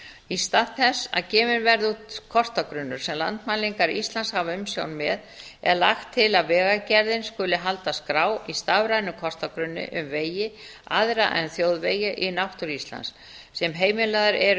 í stað þess að gefinn verði út kortagrunnur sem landmælingar íslands hafa umsjón með er lagt til að vegagerðin skuli halda skrá í stafrænum kortagrunni um vegi aðra en þjóðvegi í náttúru íslands sem heimilaðir eru